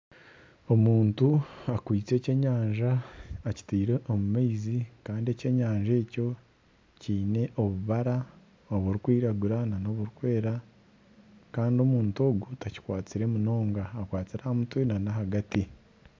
Omuntu akwitse eky'enyanja akitiire omu maizi kandi eky'enyanja ekyo kiine obubara oburikwiragura nana oburikwera kandi omuntu ogu takikwatsire munonga, akwatsire aha mutwe nana ahagati